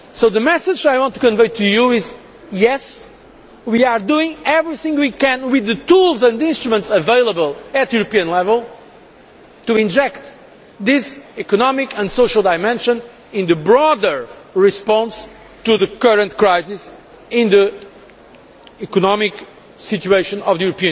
The message I want to convey to you is that, yes, we are doing everything we can with the tools and instruments available at European level to inject this economic and social dimension into the broader response to the current crisis in the economic situation of the